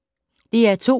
DR2